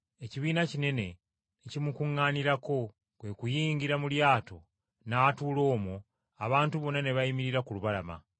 Ekibiina kinene ne kimukuŋŋaanirako. Kwe kuyingira mu lyato n’atuula omwo abantu bonna ne bayimirira ku lubalama.